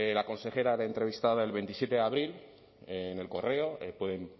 la consejera era entrevistada el veintisiete de abril en el correo pueden